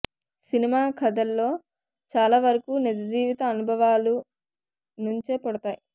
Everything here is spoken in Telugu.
సినిమా కథల్లో చాలా వరకు నిజ జీవిత అనుభవాల నుంచే పుడతాయి